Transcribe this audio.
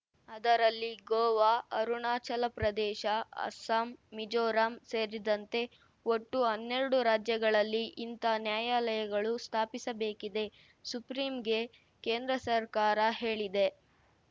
ಅದರಲ್ಲಿ ಗೋವಾ ಅರುಣಾಚಲ ಪ್ರದೇಶ ಅಸ್ಸಾಂ ಮಿಜೋರಾಂ ಸೇರಿದಂತೆ ಒಟ್ಟು ಹನ್ನೆರಡು ರಾಜ್ಯಗಳಲ್ಲಿ ಇಂಥ ನ್ಯಾಯಾಲಯಗಳು ಸ್ಥಾಪಿಸಬೇಕಿದೆ ಸುಪ್ರೀಂಗೆ ಕೇಂದ್ರ ಸರ್ಕಾರ ಹೇಳಿದೆ